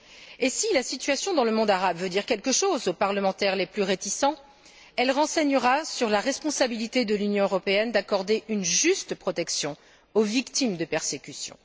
Et si la situation dans le monde arabe veut dire quelque chose aux parlementaires les plus réticents, elle renseignera sur la responsabilité de l'Union européenne d'accorder une juste protection aux victimes de persécutions.